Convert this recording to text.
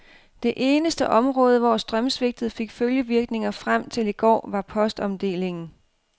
Det eneste område, hvor strømsvigtet fik følgevirkninger frem til i går, var postomdelingen.